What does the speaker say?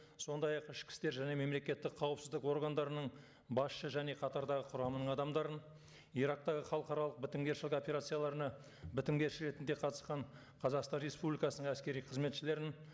сондай ақ ішкі істер және мемлекеттік қауіпсіздік органдарының басшы және қатардағы құрамының адамдарын ирактағы халықаралық бітімгершілік операцияларына бітімгерші ретінде қатысқан қазақстан республикасының әскери қызметшілерін